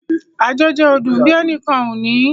Àjọjẹ ò dùn bí ẹnìkan ò bá ní